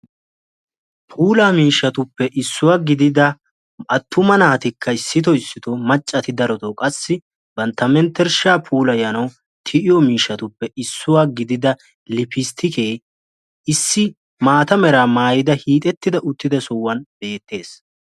puula miishshatuppe issuwa gigida attuma naatikka issitoo issitoo macca naati bantta menttereshshaa puulayyanw tiyiyyo lippistikke issi maata mera maayyida hiixetida uttida sohuwaan beettees.